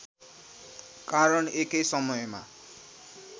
कारण एकै समयमा